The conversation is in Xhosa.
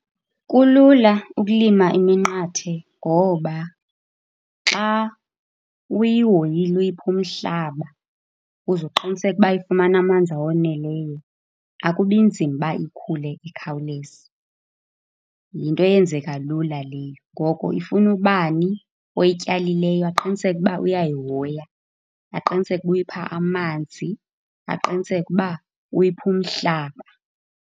Kulula ukulima iminqathe ngoba xa uyihoyile uyipha umhlaba uze uqiniseke ukuba ifumana amanzi awoneleyo, akubi nzima ukuba ikhule ikhawuleze. Yinto eyenzeka lula leyo. Ngoko ifuna ubani oyityalileyo aqiniseke ukuba uyayihoya, aqiniseke ukuba uyipha amanzi, aqiniseke ukuba uyipha umhlaba.